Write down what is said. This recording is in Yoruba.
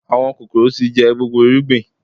Àwọn kòkòrò tí jẹ gbogbo irúgbìn